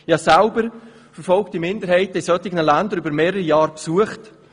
Ich habe selber verfolgte Minderheiten in entsprechenden Ländern über mehrere Jahre besucht.